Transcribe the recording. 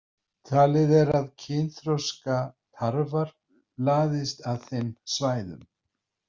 Talið er að kynþroska tarfar laðist að þeim svæðum.